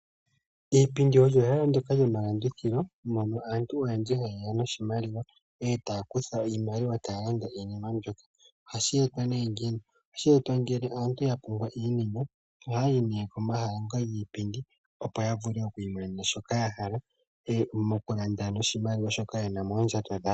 Iipondo oylo ehala ndjoka lyo malandithilo, mono aantu oyendji ha yeya no shimaliwa eta ya kutha oshimaliwa eta ya landa iinima mbyoka. Ohashi etwa nee ngiini? Ohashi etwa ngele aantu ya pumbwa iinima, oha yayi nee ko mahala ngoka giipindi opo ya vule oku i monena shika ya hala, mokulanda no shimaliwa shoka yena moondjato dhawo.